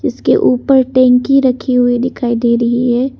इसके ऊपर टंकी रखी हुई दिखाई दे रही है।